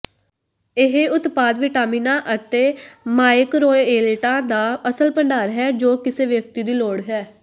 ਇਹ ਉਤਪਾਦ ਵਿਟਾਮਿਨਾਂ ਅਤੇ ਮਾਈਕਰੋਏਲੇਟਾਂ ਦਾ ਅਸਲ ਭੰਡਾਰ ਹੈ ਜੋ ਕਿਸੇ ਵਿਅਕਤੀ ਦੀ ਲੋੜ ਹੈ